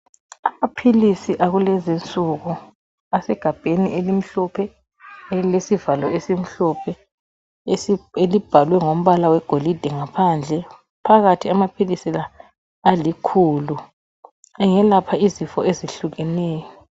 Amaphilisi akulezi insuku asegabheni elimhlophe elesivalo esimhlophe elibhalwe ngombala wegolide ngaphandle. Phakathi amaphilizi la alikhulu, ayelapha izifo ezihlukeneyo.